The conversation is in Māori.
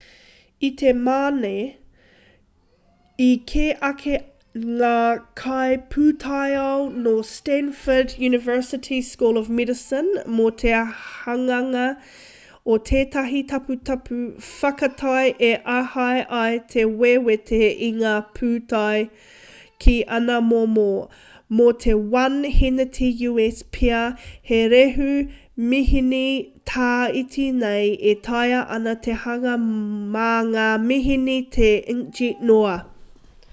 i te mane i kī ake ngā kaipūtaiao nō stanford university school of medicine mō te hanganga o tētahi taputapu whakatau e āhei ai te wewete i ngā pūtau ki ana momo: mō te 1 hēneti u.s pea he rehu-mihini tā iti nei e taea ana te hanga mā ngā mihini tā inkjet noa